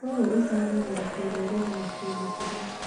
ũũ ũcangagĩra kĩrũrĩrĩ na kĩmĩtugo.